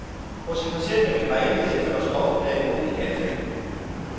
Hos en patient med migræne medfører stoffet derimod et anfald.